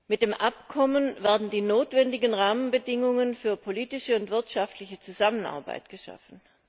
Mit dem Abkommen werden die notwendigen Rahmenbedingungen für politische und wirtschaftliche Zusammenarbeit geschaffen.